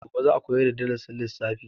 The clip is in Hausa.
Gobe za a koyar da darasin lissafi.